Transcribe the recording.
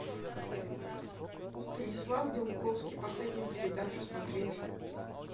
станислав белковский последнюю передачу смотреть